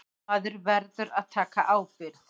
Maður verður að taka ábyrgð.